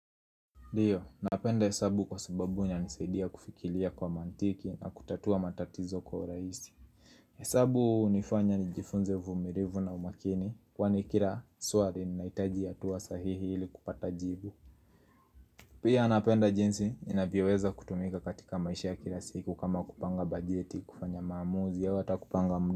Ndio, napenda hesabu kwa sababu inanisaidia kufikiria kwa mantiki na kutatua matatizo kwa urahisi. Hesabu hunifanya nijifunze uvumilivu na umakini kwani kila swali linahitaji hatua sahihi ili kupata jibu. Pia napenda jinsi inavyoweza kutumika katika maisha ya kila siku kama kupanga bajeti kufanya maamuzi au hata kupanga mda.